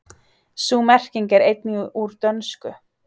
Sú merking er einnig úr dönsku.